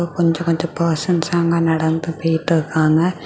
கொஞ்சொ கொஞ்சொ பெர்சன்ஸ்ல அங்க நடந்து போயிட்டு இருக்காங்க.